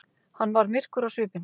Hann varð myrkur á svipinn.